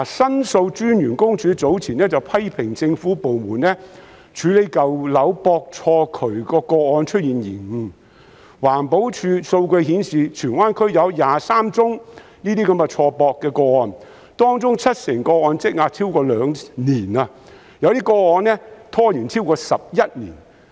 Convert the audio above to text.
申訴專員公署早前批評政府部門處理舊樓錯駁渠管的個案出現延誤，環保署的數據顯示，荃灣區有23宗這些錯駁的個案，當中七成個案積壓超過兩年，有些個案拖延超過11年。